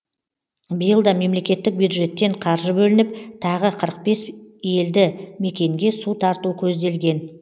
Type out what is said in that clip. биыл да мемлекеттік бюджеттен қаржы бөлініп тағы қырық бес елді мекенге су тарту көзделген